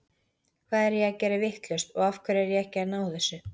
Hvað er ég að gera vitlaust og af hverju er ég ekki að ná þessu?